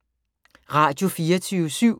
Radio24syv